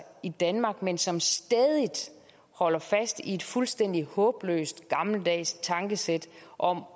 i danmark men som stædigt holder fast i et fuldstændig håbløst gammeldags tankesæt om